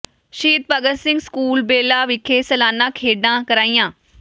ਸ਼ਹੀਦ ਭਗਤ ਸਿੰਘ ਸਕੂਲ ਬੇਲਾ ਵਿਖੇ ਸਾਲਾਨਾ ਖੇਡਾਂ ਕਰਾਈਆਂ